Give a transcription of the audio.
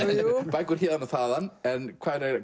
bækur héðan og þaðan en